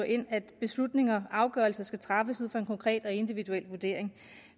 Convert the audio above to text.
ind at beslutninger og afgørelser skal træffes ud fra en konkret og individuel vurdering